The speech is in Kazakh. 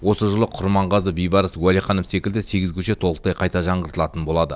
осы жылы құрманғазы бейбарыс уәлиханов секілді сегіз көше толықтай қайта жаңғыртылатын болады